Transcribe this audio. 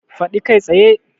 Faɗi kai tsaye!